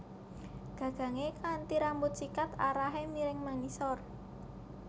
Gagangé kanthi rambut sikat arahé miring mangisor